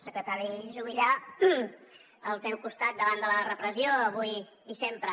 secretari juvillà al teu costat davant de la repressió avui i sempre